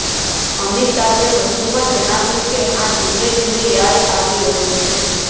અમિતાભે વધુમાં જણાવ્યું કે હા ધીમે ધીમે યાદ આવી રહ્યું છે